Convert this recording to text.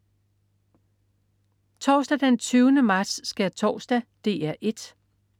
Torsdag den 20. marts. Skærtorsdag - DR 1: